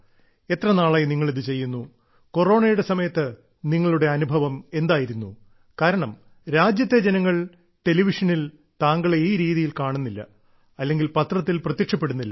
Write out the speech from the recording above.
എത്ര നാളായി നിങ്ങൾ ഇത് ചെയ്യുന്നു കൊറോണയുടെ സമയത്ത് നിങ്ങളുടെ അനുഭവം എന്തായിരുന്നു കാരണം രാജ്യത്തെ ജനങ്ങൾ ടെലിവിഷനിൽ താങ്കളെ ഈ രീതിയിൽ കാണുന്നില്ല അല്ലെങ്കിൽ പത്രത്തിൽ പ്രത്യക്ഷപ്പെടുന്നില്ല